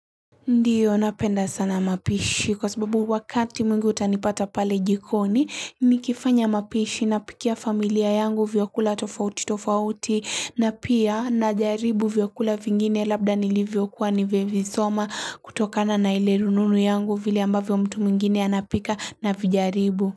Ndiyo napenda sana mapishi kwa sababu wakati mwingi utanipata pale jikoni nikifanya mapishi napikia familia yangu vyakula tofauti tofauti na pia na jaribu vyakula vingine labda nilivyokuwa nivevisoma kutokana na ile rununu yangu vile ambavyo mtu mwingine anapika navijaribu.